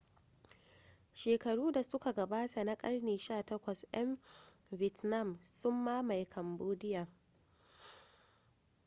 shekaru da suka gabata na karni 18 'yan vietnam sun mamaye cambodia